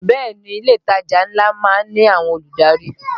Bẹ́ẹ̀ ni, ilé ìtajà ńlá má ń ní àwọn olùdarí